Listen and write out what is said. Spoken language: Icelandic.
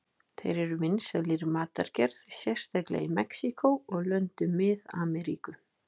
Þeir eru vinsælir í matargerð, sérstaklega í Mexíkó og löndum Mið-Ameríku.